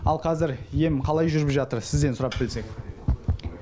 ал қазір ем қалай жүріп жатыр сізден сұрап білсек